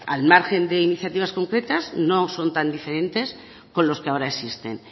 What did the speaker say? al margen de iniciativas concretas no son tan diferentes con los que ahora existen